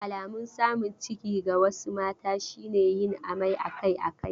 Alamun samun ciki ga wasu mata shi ne yin amai akai-akai.